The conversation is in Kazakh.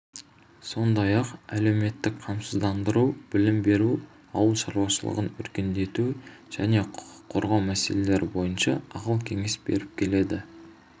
сондай-ақ әлеуметтік қамсыздандыру білім беру ауыл шаруашылығын өркендету және құқық қорғау мәселелері бойынша ақыл-кеңес беріп келеді